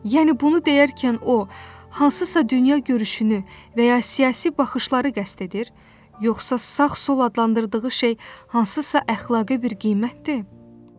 Yəni bunu deyərkən o, hansısa dünyagörüşünü və ya siyasi baxışları qəsd edir, yoxsa sağ-sol adlandırdığı şey hansısa əxlaqi bir qiymətdir?